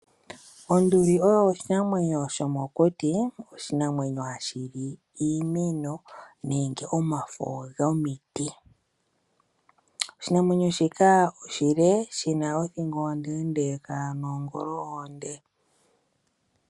Onduli oyo oshinamwenyo shomokuti, oshinamwenyo hashi li iimeno nenge omafo gomiti. Oshinamwenyo shika oshile, shi na othingo ondeendeka noongolo oonde.